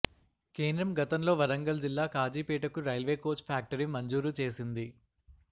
కేంద్రం గతంలో వరంగల్ జిల్లా కాజీపేటకు రైల్వే కోచ్ ఫ్యాక్టరీ మంజూరు చేసింది